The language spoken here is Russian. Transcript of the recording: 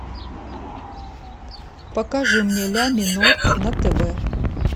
покажи мне ля минор на тв